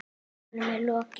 Honum er lokið!